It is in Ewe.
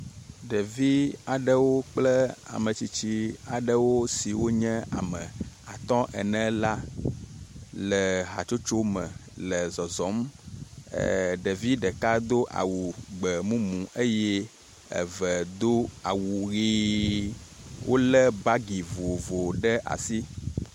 Ɖevi aɖewo kple ametsitsi aɖewo siwo nye ame atɔ̃ ene la, le hatsotso me le zɔzɔm. Eɖevi ɖeka do awu gbemumu eye eve do awu ʋiii. Wolé bagi vovo ɖe asi.